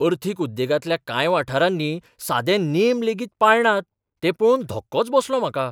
अर्थीक उद्देगांतल्या कांय वाठारांनी सादे नेम लेगीत पाळनात तें पळोवन धक्कोच बसलो म्हाका.